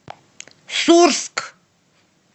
сурск